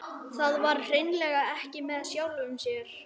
Það var hreinlega ekki með sjálfu sér.